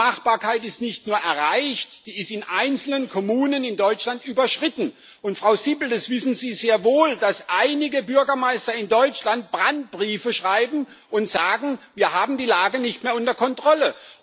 Diese Machbarkeit ist nicht nur erreicht, sie ist in einzelnen Kommunen in Deutschland überschritten. Frau Sippel, Sie wissen sehr wohl, dass einige Bürgermeister in Deutschland Brandbriefe schreiben und sagen Wir haben die Lage nicht mehr unter Kontrolle.